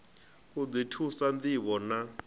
u ḓi thusa ṋdivho na